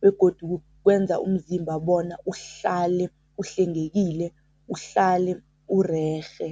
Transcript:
begodu kwenza umzimba bona uhlale uhlengekile, uhlale urerhe.